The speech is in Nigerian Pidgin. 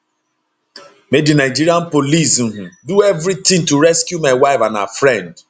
make di nigeria police um do evritin to rescue my wife and her friend